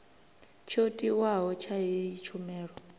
tsho tiwaho tsha heyi tshumelo